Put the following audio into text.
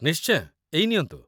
ନିଶ୍ଚୟ, ଏଇ ନିଅନ୍ତୁ।